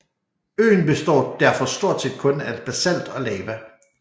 Øen består derfor stort set kun af basalt og lava